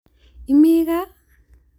Imi gaa?